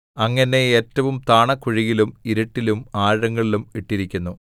അങ്ങ് എന്നെ ഏറ്റവും താണകുഴിയിലും ഇരുട്ടിലും ആഴങ്ങളിലും ഇട്ടിരിക്കുന്നു